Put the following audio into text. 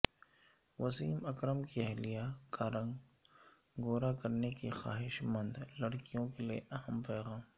وسیم اکرم کی اہلیہ کارنگ گوراکرنے کی خواہش مندلڑکیوں کے لیے اہم پیغام